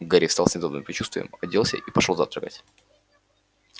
гарри встал с недобрым предчувствием оделся и пошёл завтракать